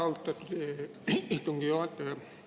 Austatud istungi juhataja!